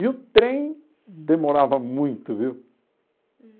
E o trem demorava muito, viu?